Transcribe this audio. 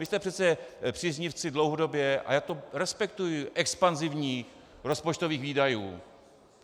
Vy jste přece příznivci dlouhodobě - a já to respektuji - expanzivních rozpočtových výdajů.